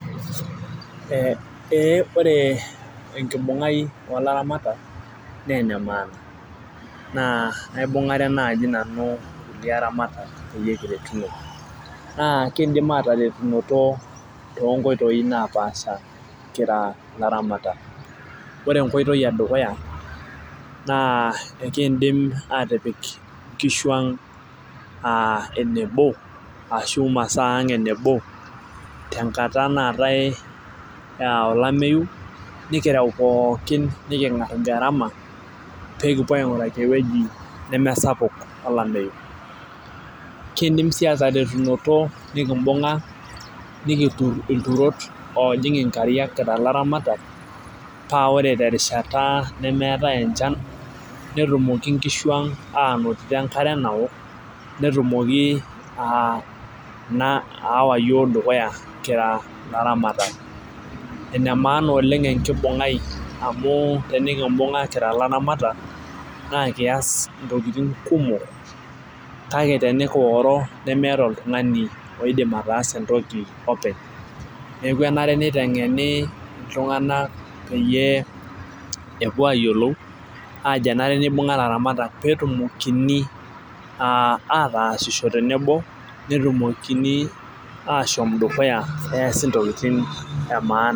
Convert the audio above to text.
Ee ore enkibungai oolaramatak naa ene maana. naa kaibungare naaji nanu kulie aramatak peyie kiretuno. naa miidim aataretunoto too nkoitoi napaasha kira ilaramatak. ore enkoitoi edukuya naa ekeidim aatipik inkishu ang enebo, ashu masaa ang enebo, tenkata naatae olameyu. nikireu pookin, nikingar garama. paa ekipuo ainguraki ewueji nemesapuk tolameyu. kiidim sii aataretunoto nikibunga, nikitur ilturot oojing inkariak kira ilaramatak, paa ore te rishata nemeetae enchan netumoki nkishu ang aanotito enkare naok. metumoki Ina aawa iyiook dukuya kira ilaramatak. ene maana oleng enkibungai amu tenikibunga kira ilaramatak naa kias intokitin kumok kake tenikioro nemeeta oltungani oidim ataasa entoki openly. neeke enare nitengeni iltunganak peyie epuo aayiolou aajo enare nibunga ilaramatak peetumokini aatasisho tenebo netumokini aashom dukuya eesita ntokitin emaana.